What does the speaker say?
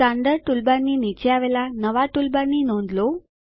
standard ટૂલબારની નીચે આવેલા નવા ટૂલબારની નોંધ લો